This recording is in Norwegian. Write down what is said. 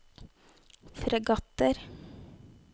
fregatter